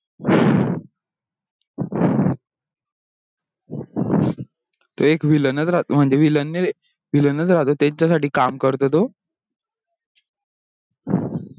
एक villain च राहतो म्हणजे VIllain नाही त्यांचा साठी काम करतो तो